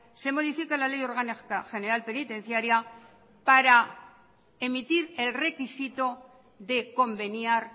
se modifica la ley orgánica general penitenciaria para emitir el requisito de conveniar